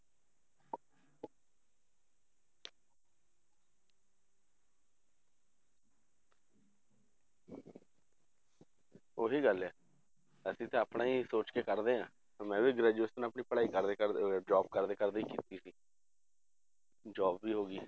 ਉਹੀ ਗੱਲ ਹੈ ਅਸੀਂ ਤਾਂ ਆਪਣਾ ਹੀ ਸੋਚ ਕੇ ਕਰਦੇ ਹਾਂ, ਮੈਂ ਵੀ graduation ਆਪਣੀ ਪੜ੍ਹਾਈ ਕਰਦੇ ਕਰਦੇ job ਕਰਦੇ ਕਰਦੇ ਹੀ ਕੀਤੀ ਸੀ job ਵੀ ਹੋ ਗਈ